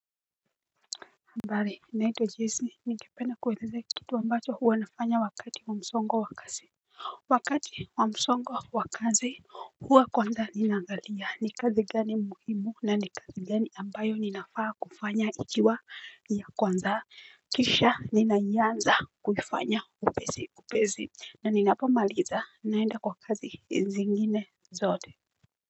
Habar naitwa jesi ningependa kuwelezea kitu ambacho huwanafanya wakati wa msongo wa kasi. Wakati wa msongo wa kazi huwa kwanza ni naangalia ni kazi gani muhimu na ni kazi gani ambayo ninafaa kufanya ikiwa ya kwanza. Kisha ninaianza kufanya upesi upezi na ninapomaliza naenda kwa kazi zingine zote.